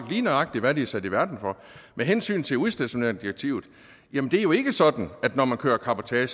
lige nøjagtig hvad de er sat i verden for med hensyn til udstationeringsdirektivet er det jo ikke sådan at når man kører cabotage